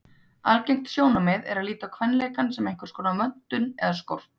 Algengt sjónarmið er að líta á kvenleikann sem einhverskonar vöntun eða skort.